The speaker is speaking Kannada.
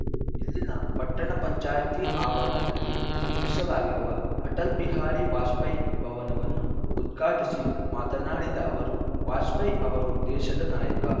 ಇಲ್ಲಿನ ಪಟ್ಟಣ ಪಂಚಾಯತಿ ಆವರಣದಲ್ಲಿ ನಿರ್ಮಿಸಲಾಗಿರುವ ಅಟಲ್‌ ಬಿಹಾರಿ ವಾಜಪೇಯಿ ಭವನವನ್ನು ಉದ್ಘಾಟಿಸಿ ಮಾತನಾಡಿದ ಅವರು ವಾಜಪೇಯಿ ಅವರು ದೇಶದ ನಾಯಕ